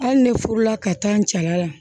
Hali ne furula ka taa n jala